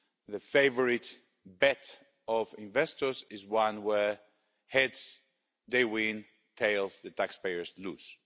The favourite bet of investors is one where heads they win, tails the taxpayers lose.